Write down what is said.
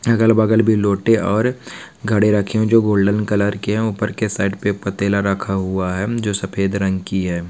अगल बगल भी लोटे और घड़े रखे हुए है जो गोल्डेन कलर के है ऊपर के साइड पे पटेला रखा हुआ है जो सफ़ेद रंग की है।